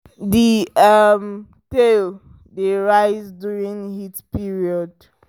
the um tail dey rise during heat period